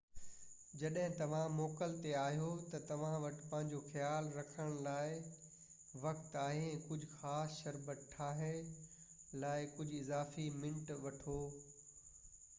جڏهن توهان موڪل تي آهيو تہ توهان وٽ پنهنجو خيال رکڻ لاءِ وقت آهي ۽ ڪجهہ خاص شربت ٺاهڻ لاءِ ڪجهہ اضافي منٽ وٺو